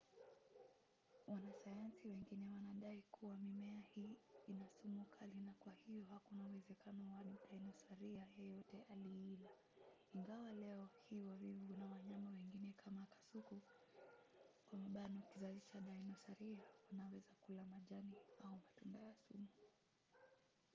wanasayansi wengine wanadai kuwa mimea hii ina sumu kali na kwa hiyo hakuna uwezekano kuwa dinosaria yeyote aliila ingawa leo hii wavivu na wanyama wengine kama kasuku kizazi cha dinosaria wanaweza kula majani au matunda ya sumu